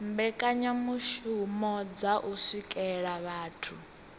mbekanyamishumo dza u swikelela vhathu